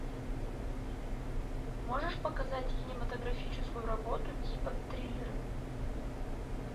можешь показать кинематографическую работу типа триллера